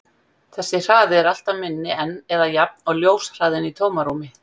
Þessi hraði er alltaf minni en eða jafn og ljóshraðinn í tómarúmi.